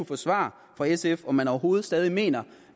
få svar fra sf på om man overhovedet stadig mener